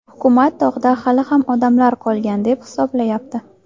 Hukumat tog‘da hali ham odamlar qolgan deb hisoblayapti.